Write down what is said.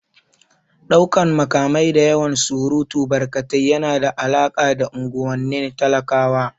Ɗaukan makamai da yawan surutu barkatai yana da alaƙa da unguwannin talakawa